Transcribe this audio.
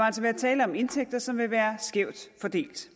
altså være tale om indtægter som vil være skævt fordelt